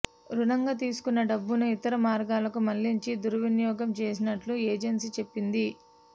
రుణంగా తీసుకున్న డబ్బును ఇతర మార్గాలకు మళ్లించి దుర్వినియోగం చేసినట్టు ఏజెన్సీ చెప్పింది